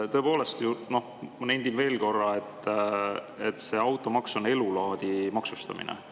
Tõepoolest, ma nendin veel korra, et see automaks on elulaadi maksustamine.